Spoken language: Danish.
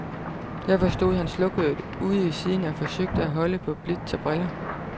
Derfor stod han slukøret ude i siden og forsøgte at holde på blitz og briller.